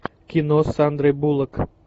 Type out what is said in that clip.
кино с сандрой буллок